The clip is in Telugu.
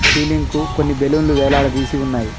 సీలింగ్ కు కొన్ని బెలూన్ వేలాడదీసి ఉన్నాయి.